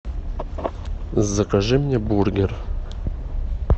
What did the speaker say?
закажи мне бургер